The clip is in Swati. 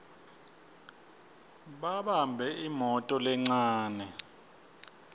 babambe imoto lencane